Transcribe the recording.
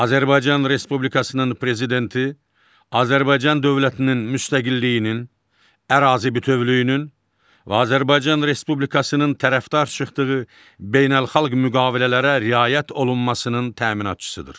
Azərbaycan Respublikasının prezidenti Azərbaycan dövlətinin müstəqilliyinin, ərazi bütövlüyünün və Azərbaycan Respublikasının tərəfdar çıxdığı beynəlxalq müqavilələrə riayət olunmasının təminatçısıdır.